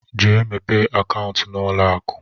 Jee mepee akaụntụ n'ụlọakụ!